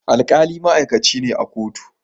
alkali ma'aikaci ne a kotu